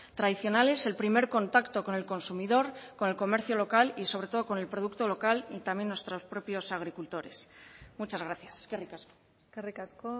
tradicionales el primer contacto con el consumidor con el comercio local y sobre todo con el producto local y también nuestros propios agricultores muchas gracias eskerrik asko eskerrik asko